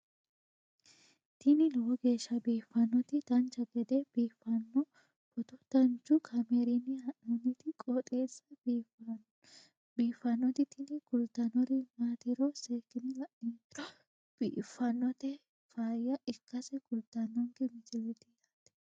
tini lowo geeshsha biiffannoti dancha gede biiffanno footo danchu kaameerinni haa'noonniti qooxeessa biiffannoti tini kultannori maatiro seekkine la'niro biiffannota faayya ikkase kultannoke misileeti yaate